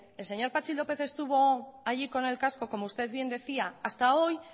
el señor patxi lópez estuvo allí con el casco como usted bien decía hasta hoy